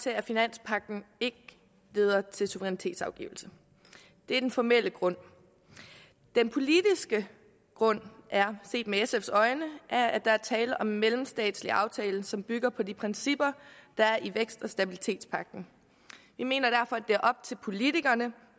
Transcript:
til at finanspagten ikke leder til suverænitetsafgivelse det er den formelle grund den politiske grund er set med sfs øjne at at der er tale om en mellemstatslig aftale som bygger på de principper der er i vækst og stabilitetspagten vi mener derfor at det er op til politikerne